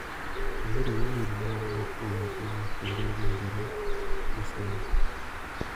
Ayudo imelMa owuok kuom Juma kendo owinjore aduok gi sani.